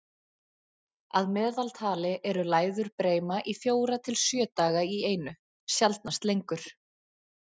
Að meðaltali eru læður breima í fjóra til sjö daga í einu, sjaldnast lengur.